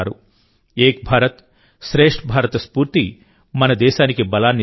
ఏక్ భారత్శ్రేష్ఠ్ భారత్ స్ఫూర్తి మన దేశానికి బలాన్నిస్తుంది